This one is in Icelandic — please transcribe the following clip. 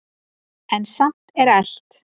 En samt er elt.